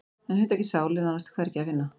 En hugtakið sál er nánast hvergi að finna.